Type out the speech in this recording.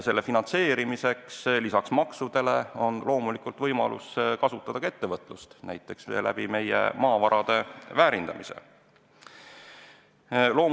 Selle finantseerimiseks on lisaks maksudele loomulikult võimalik kasutada ka ettevõtlust, näiteks meie maavarade väärindamise abil.